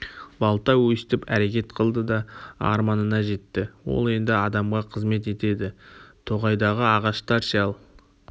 балта өстіп әрекет қылды да арманына жетті ол енді адамға қызмет етеді тоғайдағы ағаштар ше ал